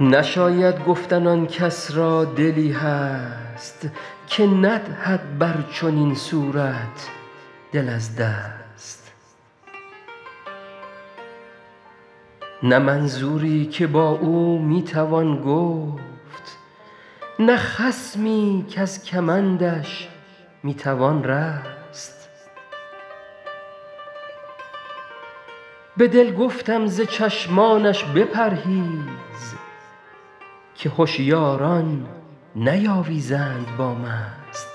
نشاید گفتن آن کس را دلی هست که ندهد بر چنین صورت دل از دست نه منظوری که با او می توان گفت نه خصمی کز کمندش می توان رست به دل گفتم ز چشمانش بپرهیز که هشیاران نیاویزند با مست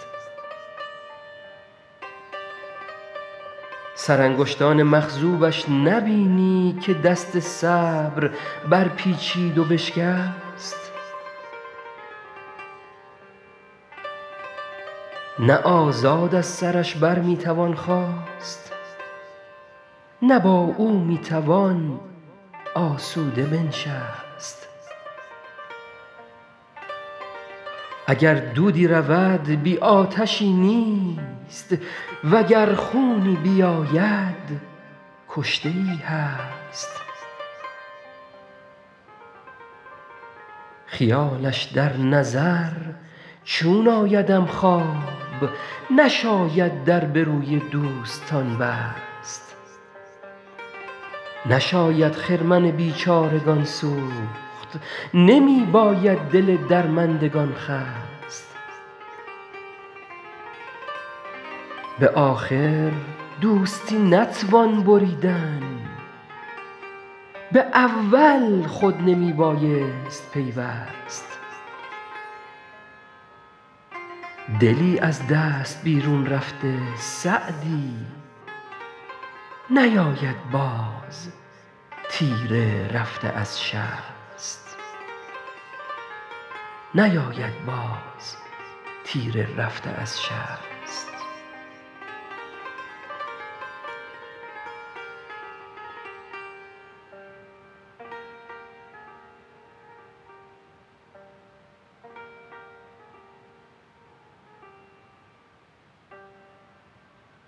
سرانگشتان مخضوبش نبینی که دست صبر برپیچید و بشکست نه آزاد از سرش بر می توان خاست نه با او می توان آسوده بنشست اگر دودی رود بی آتشی نیست و گر خونی بیاید کشته ای هست خیالش در نظر چون آیدم خواب نشاید در به روی دوستان بست نشاید خرمن بیچارگان سوخت نمی باید دل درماندگان خست به آخر دوستی نتوان بریدن به اول خود نمی بایست پیوست دلی از دست بیرون رفته سعدی نیاید باز تیر رفته از شست